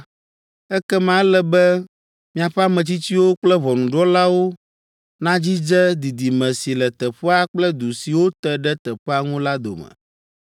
ekema ele be miaƒe ametsitsiwo kple ʋɔnudrɔ̃lawo nadzidze didime si le teƒea kple du siwo te ɖe teƒea ŋu la dome.